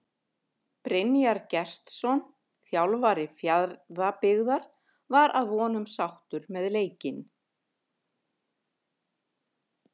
Brynjar Gestsson þjálfari Fjarðabyggðar var að vonum sáttur með leikinn.